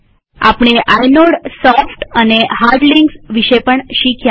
આપણે આઇનોડસોફ્ટ અને hard links વિશે પણ શીખ્યા